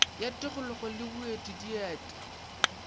ya tikolog le boeti deat